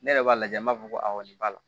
Ne yɛrɛ b'a lajɛ n b'a fɔ ko nin b'a la